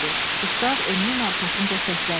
Qustav Emilin arxasınca səsləndi.